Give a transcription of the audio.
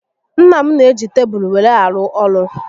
Nna m n'eji tebulu were arụ ọrụ